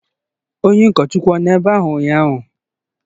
Onye ụkọchukwu ọ nọ ebe a ụnyaahụ?